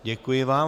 Děkuji vám.